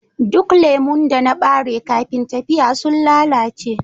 Duk lemu da na bari kafin tafiya sun lalace